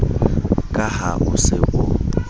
ka ha o se o